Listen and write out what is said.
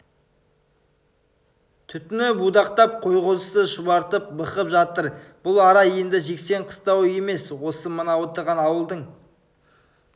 түтіні будақтап қой-қозысы шұбартып бықып жатыр бұл ара енді жексен қыстауы емес осы мына отырған ауылдың